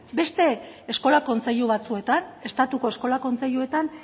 beste eskola kontseilu batzuetan estatuko eskola kontseiluetan